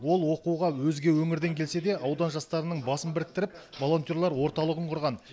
ол оқуға өзге өңірден келсе де аудан жастарының басын біріктіріп волонтерлар орталығын құрған